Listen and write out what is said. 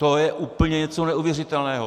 To je úplně něco neuvěřitelného!